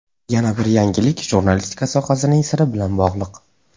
Yana bir yangilik jurnalistika sohasining siri bilan bog‘liq.